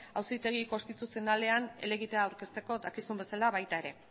auzitegi konstituzionalean helegitea aurkezteko dakizun bezala baita ere